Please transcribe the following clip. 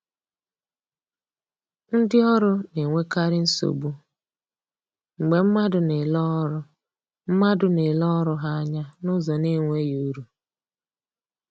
Ndi ọrụ na-enwekarị nsogbu mgbe mmadụ na-ele ọrụ mmadụ na-ele ọrụ ha anya n’ụzọ na-enweghị uru